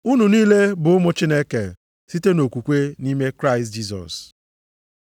Unu niile bụ ụmụ Chineke site nʼokwukwe nʼime Kraịst Jisọs.